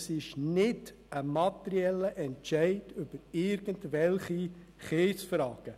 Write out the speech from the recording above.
Es ist nicht ein materieller Entscheid über irgendwelche Kiesfragen.